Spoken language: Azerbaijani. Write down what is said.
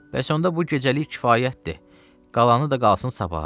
Bəs onda bu gecəlik kifayətdir, qalanı da qalsın sabaha.